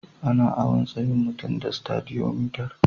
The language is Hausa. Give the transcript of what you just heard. Ana awon tsayin mutum da Stadiyomitar.